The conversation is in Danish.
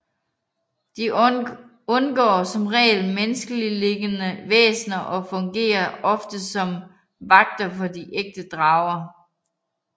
De undgår som regel menneskelignende væsner og fungerer ofte som vagter for de ægte drager